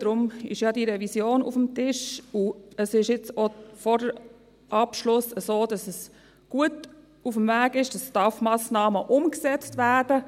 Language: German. Deshalb ist ja diese Revision auf dem Tisch, und es ist jetzt auch vor dem Abschluss so, dass es gut unterwegs ist, dass die STAF-Massnahmen umgesetzt werden.